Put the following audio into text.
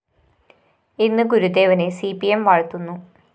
ഇന്ന് ഗുരുദേവനെ C P M വാഴ്ത്തുന്നു